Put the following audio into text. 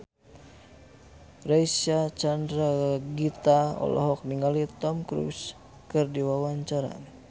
Reysa Chandragitta olohok ningali Tom Cruise keur diwawancara